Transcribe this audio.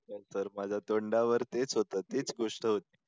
तर माझ्या तोंडावर तेच होतं तीच गोष्ट होती.